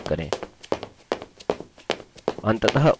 अंततः ok button पर click करें